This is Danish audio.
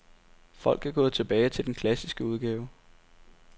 Folk er gået tilbage til den klassiske udgave.